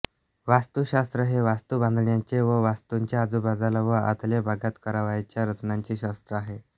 वास्तुशास्त्र हे वास्तू बांधण्याचे व वास्तूच्या आजूबाजूला व आतल्या भागात करावयाच्या रचनांचे शास्त्र आहे